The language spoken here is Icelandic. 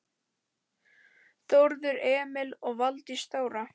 Þórður Emil og Valdís Þóra.